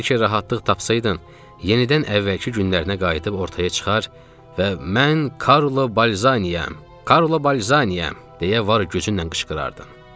Bəlkə rahatlıq tapsaydın, yenidən əvvəlki günlərinə qayıdıb ortaya çıxar və mən Karlo Balzaniyayam, Karlo Balzaniyayam, deyə var gücünlə qışqırardın.